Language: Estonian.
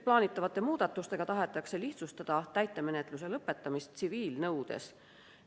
Plaanitavate muudatustega tahetakse lihtsustada täitemenetluse lõpetamist tsiviilnõudes.